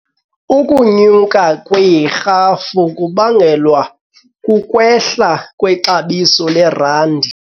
Ukunyuka kwerhafu kubangelwa kukwehla kwexabiso lerandi.